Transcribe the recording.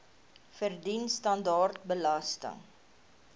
verdien standaard belasting